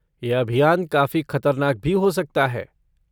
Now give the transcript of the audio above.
यह अभियान काफी खतरनाक भी हो सकता है।